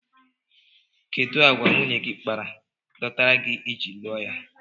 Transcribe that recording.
Kedụ àgwà nwunye gị kpara dọtara gị iji lụọ ya?